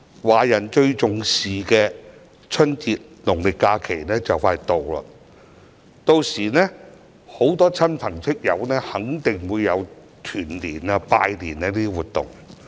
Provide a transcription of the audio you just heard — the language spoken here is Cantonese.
華人最重視的春節農曆假期快將來到，屆時很多市民肯定會與親朋戚友進行團年、拜年等活動。